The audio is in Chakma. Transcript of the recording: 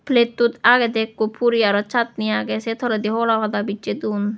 plattot agedey ekko puri aro chutney agey se toledi aro hola pada bicche don.